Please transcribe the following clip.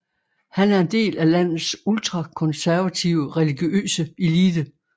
Han er en del af landets ultrakonservative religiøse elite